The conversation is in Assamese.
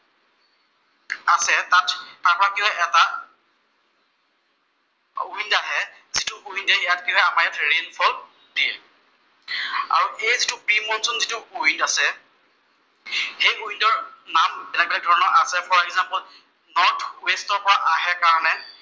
উইণ্ড আহে, যিটো উইণ্ডে ইয়াত কি হয়, আমাৰ ইয়াত ৰেইনফল দিয়ে। আৰু এই যিটো প্ৰি মনচুন যিটো উইণ্ড আছে, ফৰ এগজামপল সেই উইণ্ডৰ নাম বেলেগ বেলেগ ধৰণৰ আছে ফৰ এগজামপল নৰ্থ ৱেষ্টৰ পৰা আহে কাৰণে